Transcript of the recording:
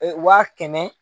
Waa kɛmɛ